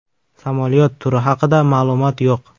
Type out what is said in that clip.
Samolyot turi haqida ma’lumot yo‘q.